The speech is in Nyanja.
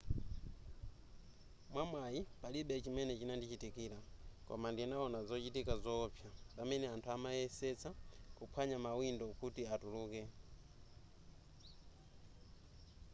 mwamwayi palibe chimene chinandichitikira koma ndinawona zochitika zoopsa pamene anthu amayesetsa kuphwanya mawindo kuti atuluke